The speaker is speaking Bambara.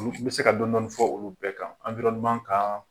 n bɛ se ka dɔndɔɔni fɔ olu bɛɛ kan kan.